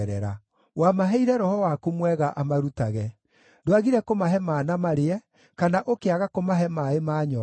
Wamaheire Roho waku mwega amarutage. Ndwagire kũmahe mana marĩe, kana ũkĩaga kũmahe maaĩ maanyoota.